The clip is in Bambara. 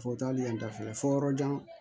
Fo taali yan dafɛ fo yɔrɔjan